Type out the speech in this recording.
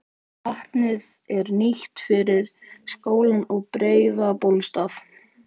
Vatnið er nýtt fyrir skólann og Breiðabólsstað.